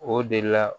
O de la